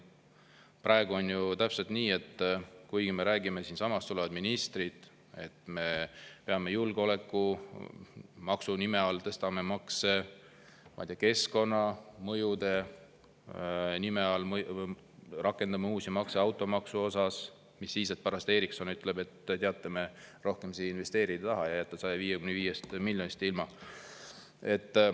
Praegu on täpselt nii, et siinsamas tulevad ministrid ja räägivad, et me peame julgeolekumaksu nime all tõstma makse, keskkonnamõjude nime all rakendama uusi makse automaksu puhul, mis siis, et pärast Ericsson ütleb, et teate, me rohkem siia investeerida ei taha ja jääte 155 miljonist eurost ilma.